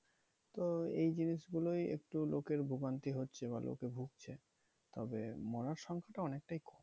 তো এই জিনিসগুলোই একটু লোকের ভোগান্তি হচ্ছে বা লোকে ভুগছে। তবে মরার সংখ্যাটা অনেকটাই কম।